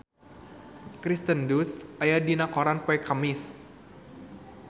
Kirsten Dunst aya dina koran poe Kemis